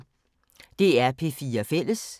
DR P4 Fælles